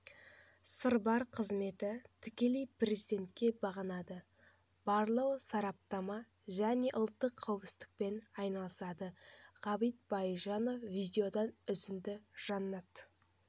сырбар қызметі тікелей президентке бағынады барлау сараптама және ұлттық қауіпсіздікпен айналысады ғабит байжанов видеодан үзінді жанат